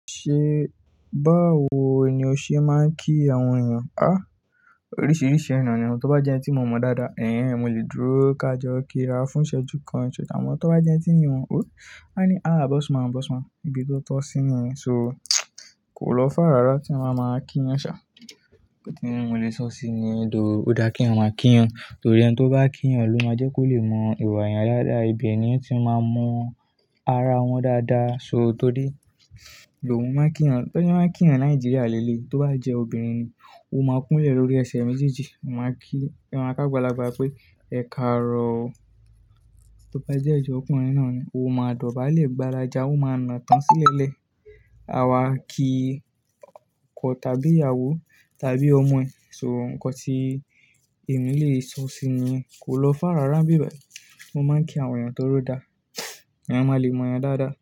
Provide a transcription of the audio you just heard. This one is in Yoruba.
Ṣé báwo ni o ṣe máa ń kí àwọn èèyàn? Oríṣiríṣi eeyan ni oo. Tí ó bá jẹ́ ẹni tí mo mọ dáadáa, mo lè dúró ká jó kí ra fún ìṣẹ́jú kan. Ṣùgbọ́n tí ó bá jẹ́ ẹni tí ì wọ̀n ò, a ní, "àá bọ́ss man, bọ́ss man". Ibi tó tọ́ sí ni. So kò lọ far rara tí a máa máa kí yán ṣa. Ẹ̀ní mo lè sọ sí ni lọ ó dá kí wọn máa kí yan. Torí ẹni tí ó bá kí yan ló máa jẹ́ kó lè mọ ìwà èèyàn dáadáa. Ibi ẹni yín tí máa mọ ara wọn dáadáa. So torí ìlò hun máa ń kí yan. Torí won maá kí yan Nàìjíríà léélée. Tí ó bá jẹ́ obìnrin ni, "o máa kún ilẹ̀ lórí ẹsẹ̀ méjèèjì." A máa kí awọn ágbàlagbà pé, "Ẹ̀kàárọ̀". Tí ó bá dẹ́ je ọkùnrin náà ni, "O máa dọ̀bálẹ̀ gbaradà, a máa na tán sílẹ̀ẹ́lẹ̀". A wá ki ọkọ tàbí ìyàwó tàbí ọmọ ẹ̀. So nǹkan tí èmi lè sọ sí i ni kò lọ far rara n bí bayi mo máa ń kí àwọn èèyàn tọri ọ dá. Ẹ̀yàn máa le mọ èèyàn dáadáa.